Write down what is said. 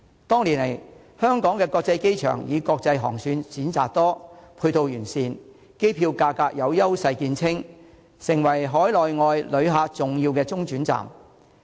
多年來，香港的國際機場以國際航線選擇多、配套完善、機票價格有優勢見稱，成為海內外旅客重要的中轉站。